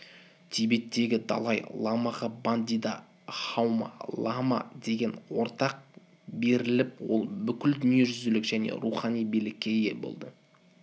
тибеттегі далай-ламаға бандида хамо-лама деген атақ беріліп ол бүкіл дүниежүзілік және рухани билікке ие болды